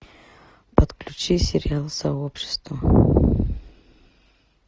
подключи сериал сообщество